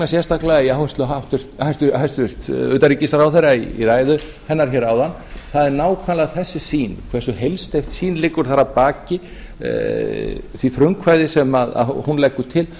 sérstaklega í áherslum hæstvirts utanríkisráðherra í ræðu hennar áðan það er nákvæmlega þessi sýn hversu heilsteypt sýn liggur þar að baki því frumkvæði sem hún leggur til